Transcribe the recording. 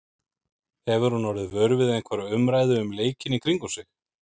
Hefur hún orðið vör við einhverja umræðu um leikinn í kringum sig?